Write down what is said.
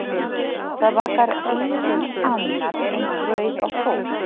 Það bakar enginn annað eins brauð og þú.